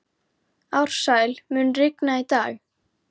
Ársæl, mun rigna í dag?